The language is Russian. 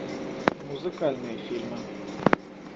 музыкальные фильмы